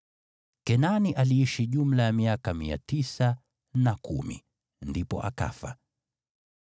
Kenani aliishi jumla ya miaka 910, ndipo akafa.